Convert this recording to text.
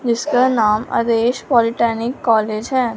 जिसका नाम अरेज पॉलिटेक्निक कॉलेज है।